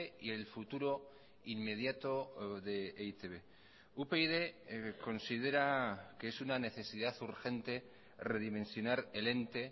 y el futuro inmediato de e i te be upyd considera que es una necesidad urgente redimensionar el ente